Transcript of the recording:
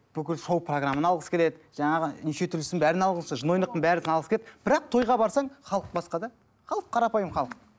бүкіл шоу программаны алғысы келеді жаңағы нешетүрлісін бәрін жын ойнақтың бәрін алғысы келеді бірақ тойға барсаң халық басқа да халық қарапайым халық